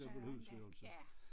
Dobbelt husydelse